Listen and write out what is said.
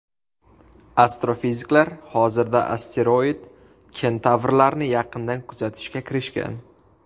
Astrofiziklar hozirda asteroid-kentavrlarni yaqindan kuzatishga kirishgan.